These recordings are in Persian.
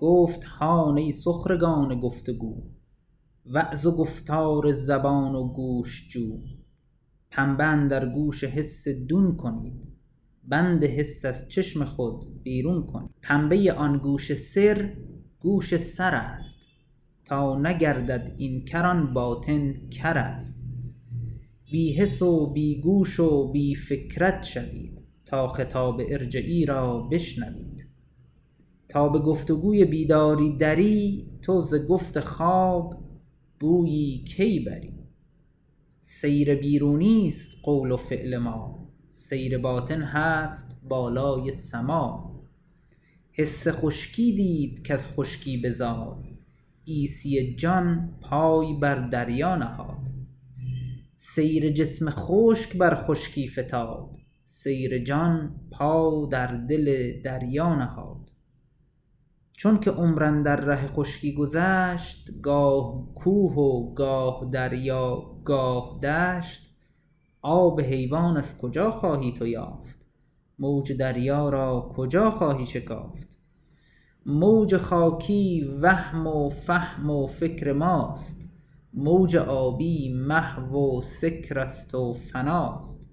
گفت هان ای سخرگان گفت و گو وعظ و گفتار زبان و گوش جو پنبه اندر گوش حس دون کنید بند حس از چشم خود بیرون کنید پنبه آن گوش سر گوش سرست تا نگردد این کر آن باطن کرست بی حس و بی گوش و بی فکرت شوید تا خطاب ارجعی را بشنوید تا به گفت و گوی بیداری دری تو زگفت خواب بویی کی بری سیر بیرونیست قول و فعل ما سیر باطن هست بالای سما حس خشکی دید کز خشکی بزاد عیسی جان پای بر دریا نهاد سیر جسم خشک بر خشکی فتاد سیر جان پا در دل دریا نهاد چونک عمر اندر ره خشکی گذشت گاه کوه و گاه دریا گاه دشت آب حیوان از کجا خواهی تو یافت موج دریا را کجا خواهی شکافت موج خاکی وهم و فهم و فکر ماست موج آبی محو و سکرست و فناست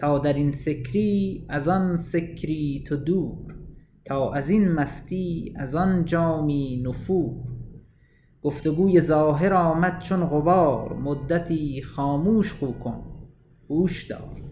تا درین سکری از آن سکری تو دور تا ازین مستی از آن جامی نفور گفت و گوی ظاهر آمد چون غبار مدتی خاموش خو کن هوش دار